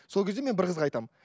сол кезде мен бір қызға айтамын